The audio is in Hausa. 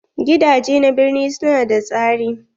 Gidaje na birni su na da tsari.